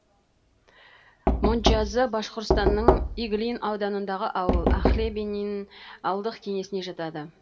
мончазы башқұртстанның иглин ауданындағы ауыл охлебинин ауылдық кеңесіне жатады